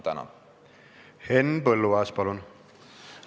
Henn Põlluaas, palun!